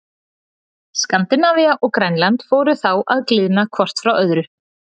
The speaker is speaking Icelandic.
Skandinavía og Grænland fóru þá að gliðna hvort frá öðru.